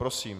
Prosím.